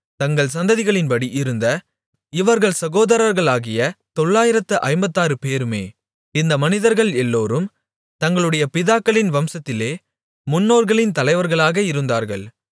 தங்கள் சந்ததிகளின்படி இருந்த இவர்கள் சகோதரர்களாகிய தொளாயிரத்து ஐம்பத்தாறுபேருமே இந்த மனிதர்கள் எல்லோரும் தங்களுடைய பிதாக்களின் வம்சத்திலே முன்னோர்களின் தலைவர்களாக இருந்தார்கள்